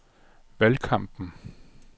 valgkampen